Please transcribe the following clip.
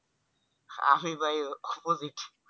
আমি ভাই opposite